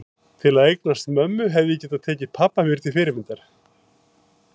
Til að eignast mömmu hefði ég getað tekið pabba mér til fyrirmyndar.